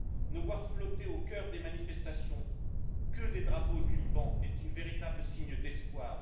Ne voir flotter au cœur des manifestations que des drapeaux du Liban est un véritable signe d'espoir.